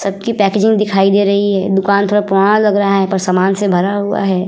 सब की पैकिंग दिखाई दे रही है दुकान थोड़ा पुराना लग रहा है पर सामान से भरा हुआ है ।